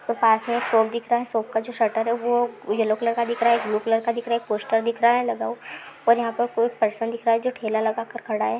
वो पास में एक शॉप दिख रहा है शॉप का जो शटर है वो येलो कलर का दिख रहा है ब्लू कलर का दिख रहा है पोस्टर दिख रहा है लगा हुआ है और यहाँ पर कोई परसन दिख रहा है जो ठेला लगा कर खड़ा है।